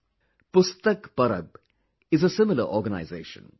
'Pustak Parab' is a similar organization